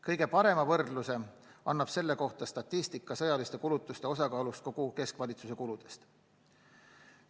Kõige parema võrdluse pakub statistika sõjaliste kulutuste osakaalust kogu keskvalitsuse kuludes.